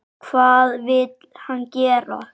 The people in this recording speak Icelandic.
Hvað vill hann gera?